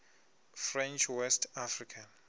french west africa